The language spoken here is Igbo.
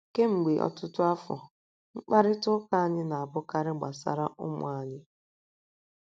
Kemgbe ọtụtụ afọ, mkparịta ụka anyị na - abụkarị gbasara ụmụ anyị.